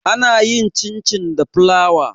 ana yin cin- cin da fulawa